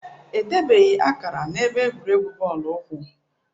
Edebeghị akara na-ebe egwuregwu bọọlụ ụkwụ